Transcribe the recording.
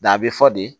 a bɛ fɔ de